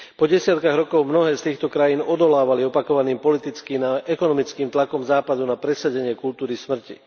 Desiatky rokoch mnohé z týchto krajín odolávali opakovaným politickým a ekonomickým tlakom západu na presadenie kultúry smrti.